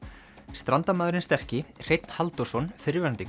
Strandamaðurinn sterki Hreinn Halldórsson fyrrverandi